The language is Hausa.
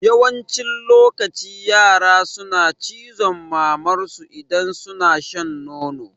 Yawancin lokaci yara suna cizon mamar su idan suna shan nono